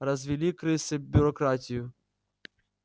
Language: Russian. развели крысы бюрократию